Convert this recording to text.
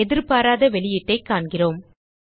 எதிர்பாராத வெளியீட்டைக் காண்கிறோம்